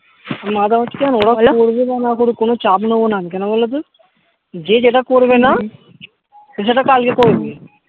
মানে এখন হচ্ছে কি বলো এরা বলো করুক আর না করুক কোনো চাপ নেবো না আমি কেন বলো তো যে যেটা করবে না হম সে সেটা কালকে করবে হম